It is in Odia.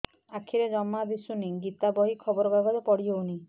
ଆଖିରେ ଜମା ଦୁଶୁନି ଗୀତା ବହି ଖବର କାଗଜ ପଢି ହଉନି